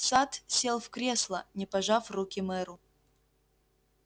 сатт сел в кресло не пожав руки мэру